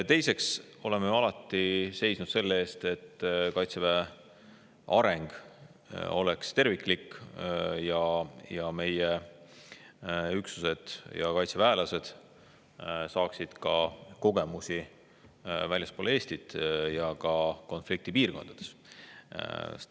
Teiseks oleme alati seisnud selle eest, et Kaitseväe areng oleks terviklik ja meie üksused ja kaitseväelased saaksid kogemusi ka väljaspool Eestit, sealhulgas konfliktipiirkondades.